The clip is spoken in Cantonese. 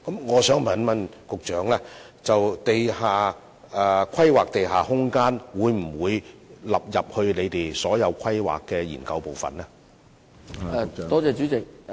我想問局長，政府會否把規劃地下空間納入政府所有規劃研究，使之成為當中的一部分？